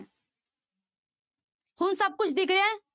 ਹੁਣ ਸਭ ਕੁਛ ਦਿਖ ਰਿਹਾ ਹੈ?